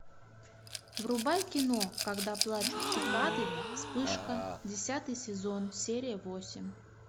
врубай кино когда плачут цикады вспышка десятый сезон серия восемь